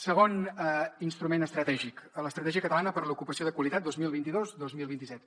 segon instrument estratègic l’estratègia catalana per l’ocupació de qualitat vint milions dos cents i vint dos mil vint set